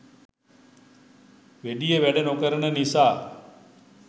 වැඩිය වැඩ නොකෙරෙන නිසා